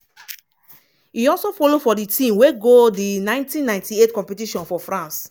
e also follow for di team wey go di 1998 competition for france.